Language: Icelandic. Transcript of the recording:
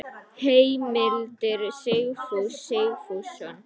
Heimildir Sigfús Sigfússon.